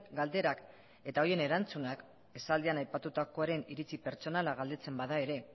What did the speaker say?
galderak eta horien erantzunak esaldian aipatutakoaren iritzi pertsonala galdetzen bada ere